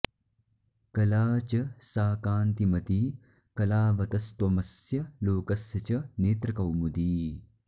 कला च सा कान्तिमती कलावतस्त्वमस्य लोकस्य च नेत्रकौमुदी